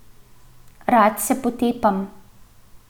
Rad se potepam.